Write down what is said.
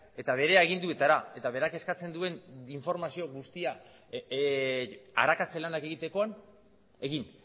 eta bere aginduetara eta berak eskatzen duen informazio guztia arakatze lanak egitekoan egin